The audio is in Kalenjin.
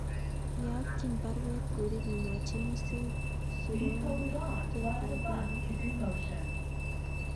Iyakyin baruet Korir imwachini siiroonken ab wikiit